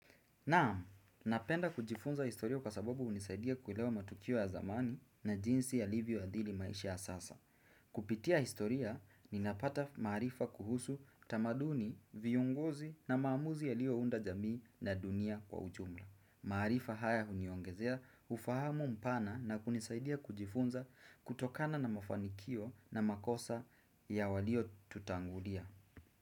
Naam, napenda kujifunza historia kwa sababu hunisaidia kuelewa matukio ya zamani, na jinsi yalivyo adhiri maisha ya sasa. Kupitia historia, ninapata maarifa kuhusu tamaduni, viunguzi na maamuzi yalio unda jamii na dunia kwa ujumla. Maarifa haya huniongezea ufahamu mpana na kunisaidia kujifunza kutokana na mafanikio na makosa ya waliotutangulia.